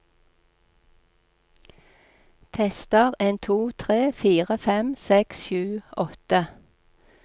Tester en to tre fire fem seks sju åtte